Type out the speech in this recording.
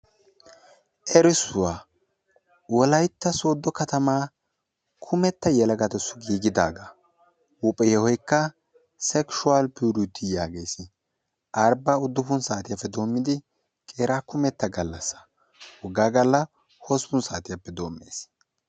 Erissuwaa. Wolaytta sodo katama yelaga kumetta giigidaga. Huuphphee yohoykka sekshuwal purity yaages. Arbba uddufun saateppe doommidi qeera kumetta gallassa. Wogga Galla hossppun saatiyappe doommees.